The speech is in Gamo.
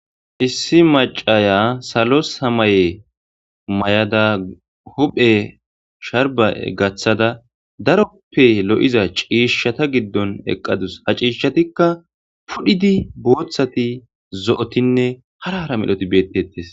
issi macaya salo samaye may7ada huphe sharba gaththada daroppe lo7iza ciishshata giddon eqqadus ha ciishatikka pudhidi booththati zo7otinne harahara melhoti bettettes